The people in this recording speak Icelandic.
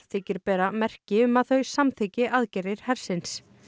þykir bera merki um að þau samþykki aðgerðir hersins